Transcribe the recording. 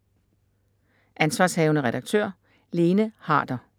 Ansv. redaktør: Lene Harder